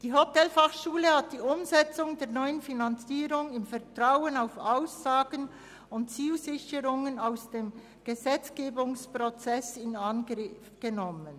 Die Hotelfachschule Thun hat die Umsetzung der neuen Finanzierung im Vertrauen auf Aussagen und Zusicherungen aus dem Gesetzgebungsprozess in Angriff genommen.